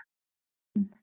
Lín